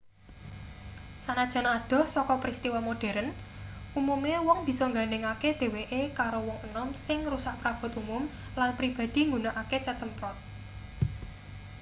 sanajan adoh saka pristiwa modheren umume wong bisa nggandhengake dheweke karo wong enom sing ngrusak prabot umum lan pribadi nggunakake cet semprot